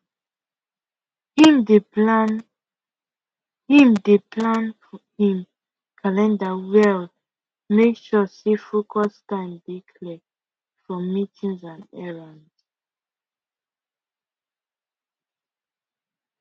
him dey him dey plan him calender well make sure say focus time dey clear from meetings and errands